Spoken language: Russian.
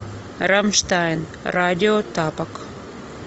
рамштайн радио тапок